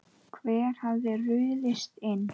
Hver hafði ruðst inn?